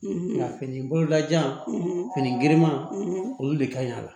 Nka fini bololajan fini giriman olu de ka ɲi a la